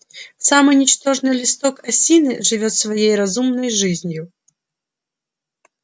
самый ничтожный листок осины живёт своей разумной жизнью